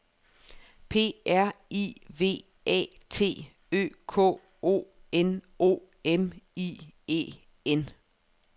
P R I V A T Ø K O N O M I E N